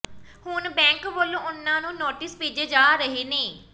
ਹੁਣ ਬੈਂਕ ਵੱਲੋਂ ਉਨ੍ਹਾਂ ਨੂੰ ਨੋਟਿਸ ਭੇਜੇ ਜਾ ਰਹੇ ਨੇ